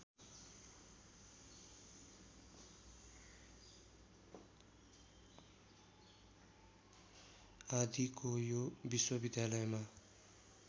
आदिको यो विश्वविद्यालयमा